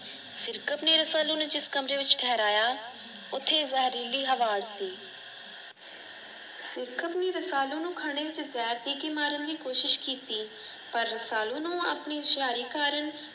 ਸਿਰਕਤ ਨੇ ਰਸਾਲੂ ਨੂੰ ਜਿਸ ਕਮਰੇ ਵਿਚ ਠਹਰਾਇਆ ਉੱਥੇ ਜ਼ਹਿਰੀਲੀ ਹਵਾ ਸੀ। ਮਾਰਨ ਦੀ ਕੋਸ਼ਿਸ਼ ਕੀਤੀ ਪਰ ਰਸਾਲੂ ਨੂੰ ਆਪਣੀ ਹੁਸ਼ਿਆਰੀ ਕਾਰਨ ।